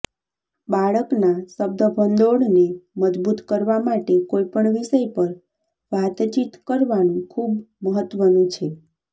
બાળકના શબ્દભંડોળને મજબૂત કરવા માટે કોઈપણ વિષય પર વાતચીત કરવાનું ખૂબ મહત્વનું છે